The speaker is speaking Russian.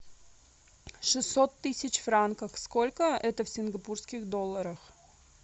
шестьсот тысяч франков сколько это в сингапурских долларах